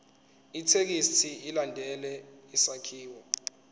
ithekisthi ilandele isakhiwo